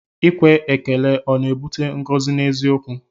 Ikwe ekele ọ na-ebute ngọzi n'eziokwu?